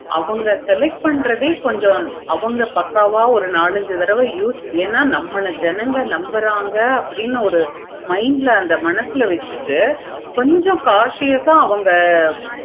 அவங்க select பண்றத கொஞ்சம் அவுங்க பக்கவா ஒரு நாலு அஞ்சு தடவ என நம்ம ஜனங்க நம்புறாங்க நம்ம mind ல அத மனசுல வச்சிட்டு கொஞ்சம் conscious ஆஹ் அவங்க